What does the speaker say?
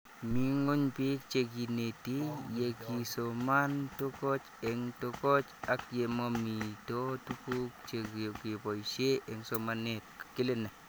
Mii ng'weny pik che kineti ye kisoman tokoch eng' tokoch ak ye mamito tuguk che kepoishe eng' somanet